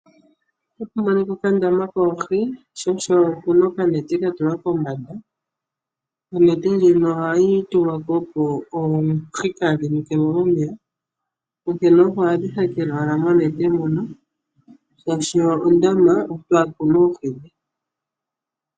Koka ndama koohi ohaka tulwa okanete kombanda. Onete ndjino ohayi tulwako opo oohi kadhi nukemo momeya onkene ohadhi hakele owala monete mo.